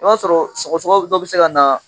I b'a sɔrɔ sɔgɔsɔgɔ dɔ bɛ se ka na